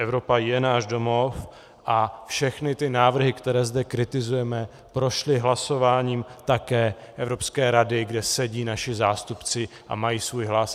Evropa je náš domov a všechny ty návrhy, které zde kritizujeme, prošly hlasováním také Evropské rady, kde sedí naši zástupci a mají svůj hlas.